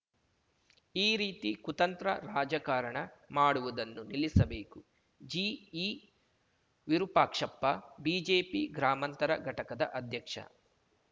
ಈ ರೀತಿ ಕುತಂತ್ರ ರಾಜಕಾರಣ ಮಾಡುವುದನ್ನು ನಿಲ್ಲಸಬೇಕು ಜಿಈ ವಿರೂಪಾಕ್ಷಪ್ಪ ಬಿಜೆಪಿ ಗ್ರಾಮಾಂತರ ಘಟಕದ ಅಧ್ಯಕ್ಷ